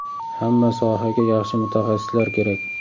Hamma sohaga yaxshi mutaxassislar kerak.